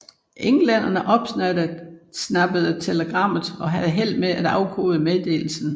Englænderne opsnappede telegrammet og havde held med at afkode meddelelsen